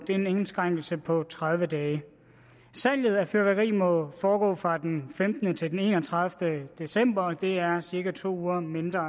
det er en indskrænkelse på tredive dage salget af fyrværkeri må foregå fra den femtende til den enogtredivete december og det er cirka to uger mindre